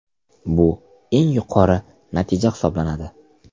Bu eng yuqori natija hisoblanadi.